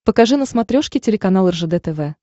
покажи на смотрешке телеканал ржд тв